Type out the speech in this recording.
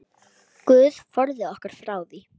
Guð forði okkur frá því.